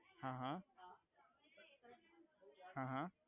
હા હા હા હા